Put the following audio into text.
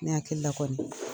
Ne hakilia kɔɔni